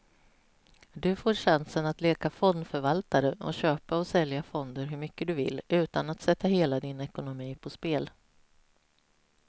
Du får chansen att leka fondförvaltare och köpa och sälja fonder hur mycket du vill, utan att sätta hela din ekonomi på spel.